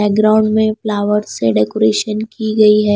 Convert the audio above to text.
Background में flower से decoration की गई है।